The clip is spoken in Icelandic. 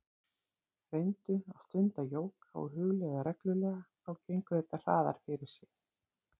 Reyndu að stunda jóga og hugleiða reglulega, þá gengur þetta hraðar fyrir sig.